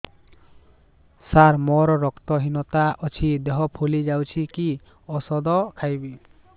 ସାର ମୋର ରକ୍ତ ହିନତା ଅଛି ଦେହ ଫୁଲି ଯାଉଛି କି ଓଷଦ ଖାଇବି